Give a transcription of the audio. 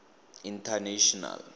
international